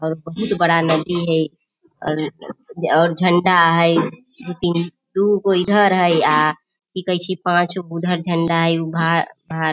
और बहुत बड़ा नदी है और और झंडा हेय दू तीन दुगो इधर हेय आ की कहे छै पांच गो उधर झंडा हेय --